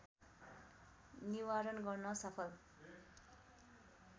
निवारण गर्न सफल